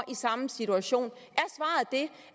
i samme situation